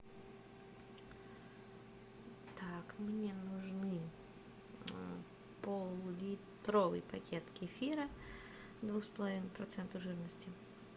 так мне нужны поллитровый пакет кефира двух с половиной процента жирности